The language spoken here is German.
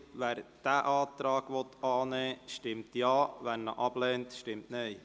Wer diesen annehmen will, stimmt Ja, wer diesen ablehnt, stimmt Nein.